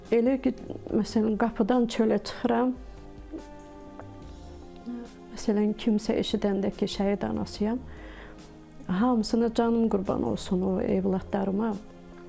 Elə ki, məsələn qapıdan çölə çıxıram, məsələn kimsə eşidəndə ki, şəhid anasıyam, hamısına canım qurban olsun o övladlarıma.